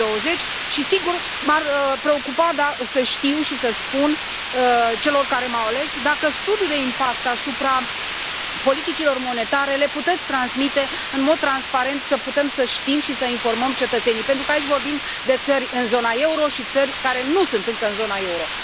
2020? Sigur, m ar preocupa să știu și să spun celor care m au ales dacă studiul de impact asupra politicilor monetare îl puteți transmite în mod transparent, să putem să știm și să informăm cetățenii, pentru că aici vorbim de țări în zona euro și țări care nu sunt încă în zona euro.